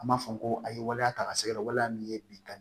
An b'a fɔ ko a ye waleya ta ka se ka waleya min ye bi ka